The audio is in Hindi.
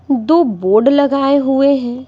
दो बोर्ड लगाए हुए हैं।